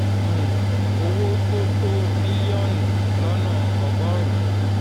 um owó tó tó bílíọ̀nù lọ́nà ọgọ́rùn-ún